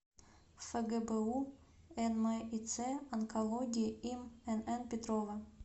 фгбу нмиц онкологии им нн петрова